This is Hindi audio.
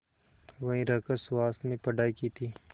वहीं रहकर सुहास ने पढ़ाई की थी